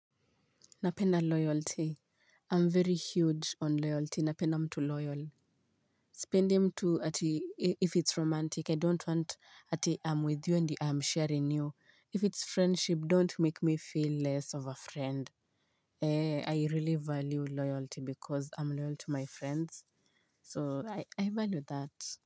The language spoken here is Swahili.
Napenda uaminifu. Mimi hujali sana kuhusu uaminifu na huwa mwaminifu sana. Sipendi mtu hata kama ni wa kimapenzi. I don't want ati I'm with you and I'm sharing you. If it's friendship don't make me feel less of a friend. I really value loyalty because I'm loyal to my friends. So I value that.